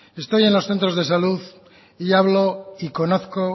estoy en los centros de salud y hablo y conozco